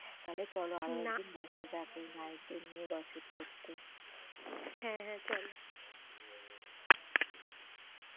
তাহলে চলো আরো একদিন বসা যাক এই নায়কদের নিয়ে gossip করতে। হ্যাঁ হ্যাঁ চলো